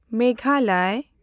Meghalaya